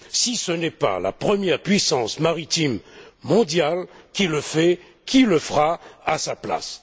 Si ce n'est pas la première puissance maritime mondiale qui le fait, qui le fera à sa place?